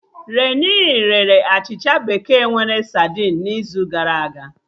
Renii rere achịcha bekee nwere sadinu n'izu gara aga